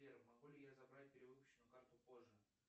сбер могу ли я забрать перевыпущенную карту позже